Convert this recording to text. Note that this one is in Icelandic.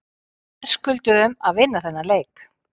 Við verðskulduðum að vinna þennan leik.